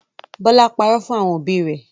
Bọlá párọ̀ fún àwọn òbí rẹ̀